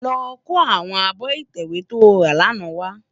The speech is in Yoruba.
Lò kó áwòn ábò itèwé tó rá làná wá